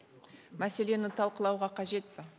мәселені талқылауға қажет пе